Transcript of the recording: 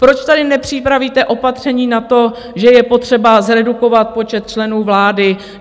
Proč tady nepřipravíte opatření na to, že je potřeba zredukovat počet členů vlády?